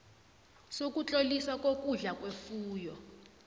sokutloliswa kokudla kwefuyo